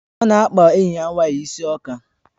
Ọ na-akpa enyi ya nwanyị isi ọka